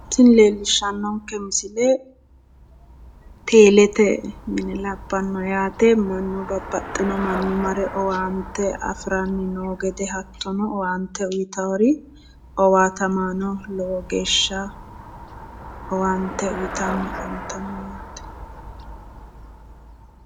Tini leellishshannonke misile teelete mine abbanno, babbaxxino manni mare owaante afi'ranni noota afi'ranni noota hattono, owaante uytaari owaatamaano lowo geeshsha owaante uytanni afantanno yaate.